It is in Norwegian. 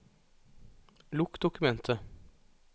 Lukk dokumentet